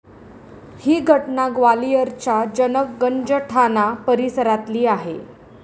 ही घटना ग्वालियरच्या जनक गंज ठाणा परिसरातली आहे.